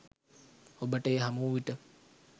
ඔබට එය හමු වූ විට